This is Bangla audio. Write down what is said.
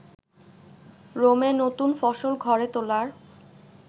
রোমে নতুন ফসল ঘরে তোলার